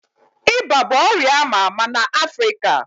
Iba bụ ọrịa ama ama na Africa